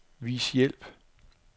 Vis hjælp.